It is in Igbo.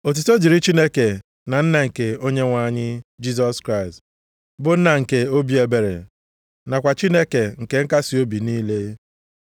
Otuto dịrị Chineke na Nna nke Onyenwe anyị Jisọs Kraịst, bụ Nna nke obi ebere, nakwa Chineke nke nkasiobi niile.